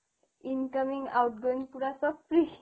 incoming outgoing পুৰা চব free